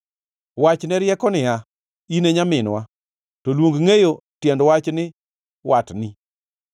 Wach ne rieko niya, “In e nyaminwa,” to luong ngʼeyo tiend wach ni watni;